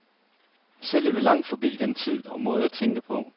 Selv er vi langt forbi den tid og måde at tænke på.